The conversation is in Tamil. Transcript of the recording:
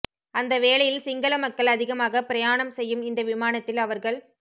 அந்த வேளையில் சிங்கள மக்கள் அதிகமாகப் பிரயாணம் செய்யும் இந்த விமானத்தில் அவர்கள்